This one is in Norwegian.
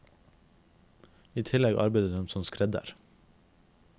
I tillegg arbeidet hun som skredder.